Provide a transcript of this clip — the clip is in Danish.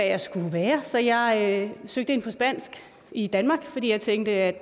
jeg skulle være så jeg søgte ind på spansk i danmark fordi jeg tænkte at